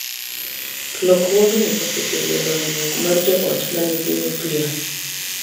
Lokruogni osekelo dongruok mar jo ot ma nigi nuklia,